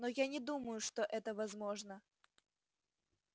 но я не думаю что это возможно